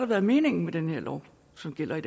været meningen med den lov som gælder i